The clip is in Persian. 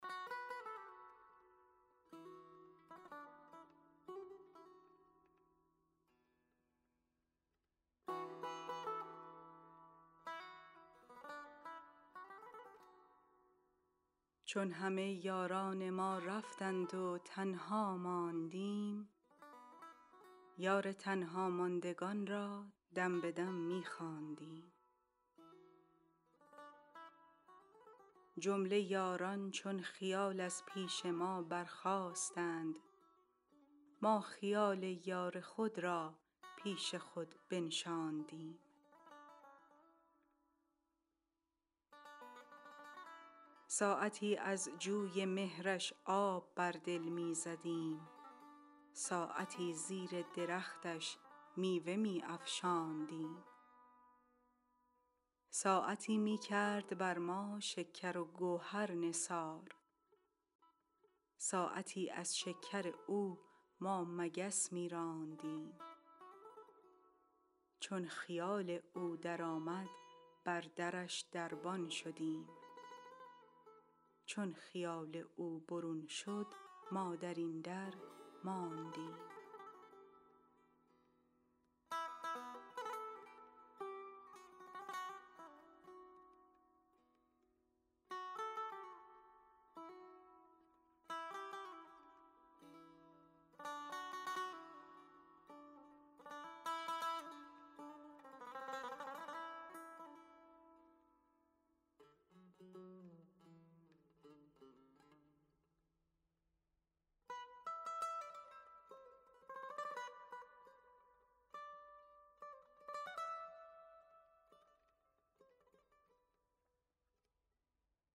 چون همه یاران ما رفتند و تنها ماندیم یار تنهاماندگان را دم به دم می خواندیم جمله یاران چون خیال از پیش ما برخاستند ما خیال یار خود را پیش خود بنشاندیم ساعتی از جوی مهرش آب بر دل می زدیم ساعتی زیر درختش میوه می افشاندیم ساعتی می کرد بر ما شکر و گوهر نثار ساعتی از شکر او ما مگس می راندیم چون خیال او درآمد بر درش دربان شدیم چون خیال او برون شد ما در این درماندیم